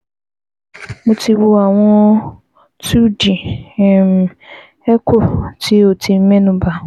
Mo ti wo àwọn awọn two d um echo ti o ti mẹ́nubà